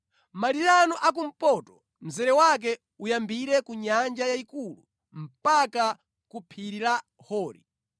“ ‘Malire anu a kumpoto, mzere wake uyambire ku Nyanja Yayikulu mpaka ku phiri la Hori